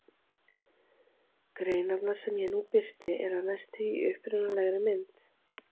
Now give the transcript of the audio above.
Greinarnar sem ég nú birti eru að mestu í upprunalegri mynd.